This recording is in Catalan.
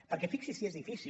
perquè fixi’s si és difícil